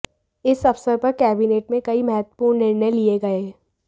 इस अवसर पर कैबिनेट में कई महत्वपूर्ण निर्णय लिए गए